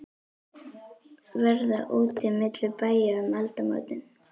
Verða úti milli bæja um aldamótin?